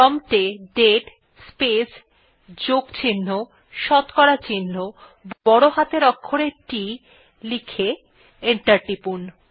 prompt এ দাতে space যোগ চিহ্ন শতকরা চিহ্ন বড় হাতের অক্ষরে T লিখে এন্টার টিপুন